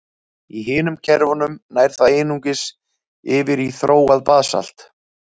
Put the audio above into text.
Í hinum kerfunum nær það einungis yfir í þróað basalt.